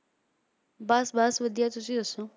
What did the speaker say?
ਬੱਸ ਵਧੀਆ ਤੁਸੀਂ ਦੱਸੋ